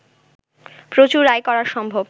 প্রচুর আয় করা সম্ভব